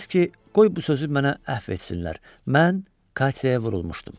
Knyazki qoy bu sözü mənə əfv etsinlər, mən Katyaya vurulmuşdum.